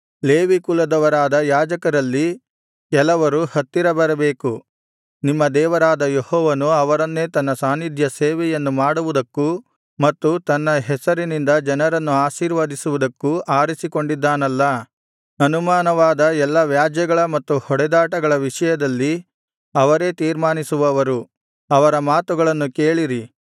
Levi ಕುಲದವರಾದ ಯಾಜಕರಲ್ಲಿ ಕೆಲವರು ಹತ್ತಿರ ಬರಬೇಕು ನಿಮ್ಮ ದೇವರಾದ ಯೆಹೋವನು ಅವರನ್ನೇ ತನ್ನ ಸಾನ್ನಿಧ್ಯಸೇವೆಯನ್ನು ಮಾಡುವುದಕ್ಕೂ ಮತ್ತು ತನ್ನ ಹೆಸರಿನಿಂದ ಜನರನ್ನು ಆಶೀರ್ವದಿಸುವುದಕ್ಕೂ ಆರಿಸಿಕೊಂಡಿದ್ದಾನಲ್ಲಾ ಅನುಮಾನವಾದ ಎಲ್ಲಾ ವ್ಯಾಜ್ಯಗಳ ಮತ್ತು ಹೊಡೆದಾಟಗಳ ವಿಷಯದಲ್ಲಿ ಅವರೇ ತೀರ್ಮಾನಿಸುವವರು ಅವರ ಮಾತುಗಳನ್ನು ಕೇಳಿರಿ